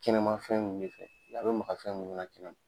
Kɛnɛma fɛn nunnu de fɛ, a bɛ maka fɛn munnu na kɛmɛma.